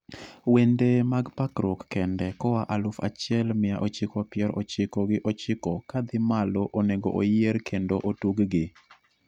wende mag pakruok kende koa aluf achiel mia ochiko pier ochiko gi ochiko kadhii malo onego oyier kendo otuggi